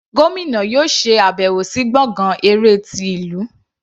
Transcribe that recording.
Gómìnà yóò ṣe àbẹ̀wọ̀ sí gbọ̀ngán eré ti ìlú.